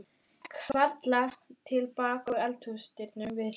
Hann gekk varlega til baka að eldhúsdyrunum við hlið